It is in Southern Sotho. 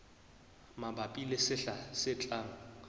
mabapi le sehla se tlang